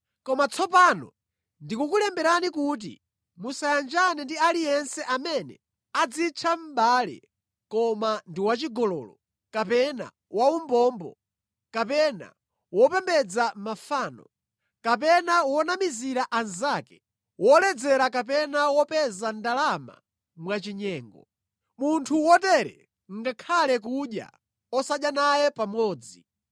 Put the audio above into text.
Koma tsopano ndikukulemberani kuti musayanjane ndi aliyense amene adzitcha mʼbale koma ndi wachigololo, kapena waumbombo, kapena wopembedza mafano, kapena wonamizira anzake, woledzera kapena wopeza ndalama mwachinyengo. Munthu wotere ngakhale kudya, osadya naye pamodzi.